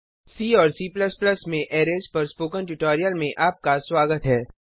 सी और C में arrays पर स्पोकन ट्यूटोरियल में आपका स्वागत है